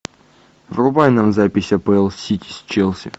врубай нам запись апл сити с челси